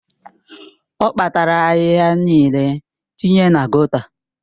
Ọ kpatara ahịhịa niile tinye na gọta